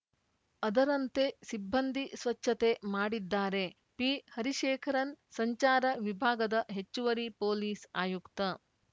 ಅದರಂತೆ ಸಿಬ್ಬಂದಿ ಸ್ವಚ್ಛತೆ ಮಾಡಿದ್ದಾರೆ ಪಿಹರಿಶೇಖರನ್‌ ಸಂಚಾರ ವಿಭಾಗದ ಹೆಚ್ಚುವರಿ ಪೊಲೀಸ್‌ ಆಯುಕ್ತ